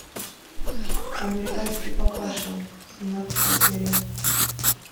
американский папаша семнадцатая серия